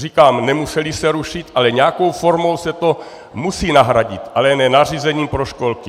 Říkám, nemusely se rušit, ale nějakou formou se to musí nahradit, ale ne nařízením pro školky.